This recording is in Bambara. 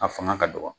A fanga ka dɔgɔ